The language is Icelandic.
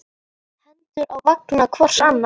Hendur á vanga hvors annars.